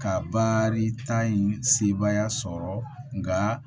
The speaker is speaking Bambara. Ka baarita in sebaaya sɔrɔ nka